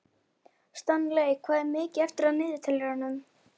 Stanley, hvað er mikið eftir af niðurteljaranum?